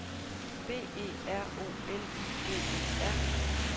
B E R O L I G E R